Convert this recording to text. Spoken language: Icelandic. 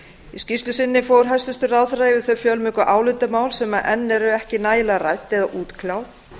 í skýrslu sinni fór hæstvirtur ráðherra yfir þau fjölmörgu álitamál sem enn eru ekki nægilega rædd eða útkljáð